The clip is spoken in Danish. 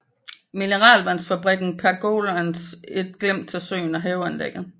Mineralvandsfabrikken pergolaen et glimt til søen og haveanlægget